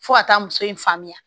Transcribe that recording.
Fo ka taa muso in faamuya